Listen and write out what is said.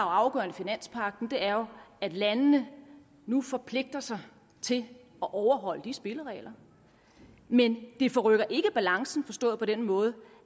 afgørende i finanspagten er at landene nu forpligter sig til at overholde de spilleregler men det forrykker ikke balancen forstået på den måde